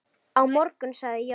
Á morgun sagði Jón.